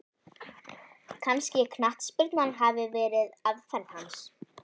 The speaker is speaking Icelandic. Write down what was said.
Kannski knattspyrna hafi verið aðferð hans?